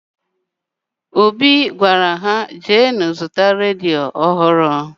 Obi gwara ha, jeenụ zụta redio ọhụrụ!